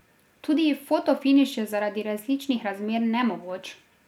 Tudi fotofiniš je zaradi različnih razmer nemogoč.